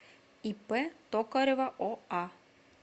ип токарева оа